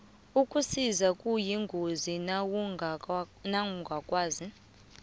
ukusisa kuyingozi nawungakwaziko